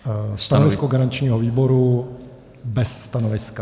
Stanovisko garančního výboru: bez stanoviska.